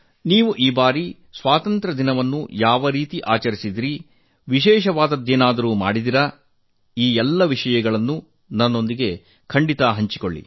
ನೀವು ಈ ಬಾರಿ ಸ್ವಾತಂತ್ರ್ಯ ದಿನವನ್ನು ಯಾವ ರೀತಿ ಆಚರಿಸಿದಿರಿ ವಿಶೇಷವಾದುದು ಏನಾದರೂ ಮಾಡಿದಿರಾ ಎಲ್ಲ ವಿಷಯವನ್ನು ನನ್ನೊಂದಿಗೆ ಹಂಚಿಕೊಳ್ಳಿ